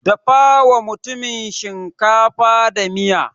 Dafawa mutumin shinkafa da miya.